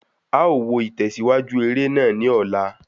A ó wo itẹsiwaju eré náà ni ola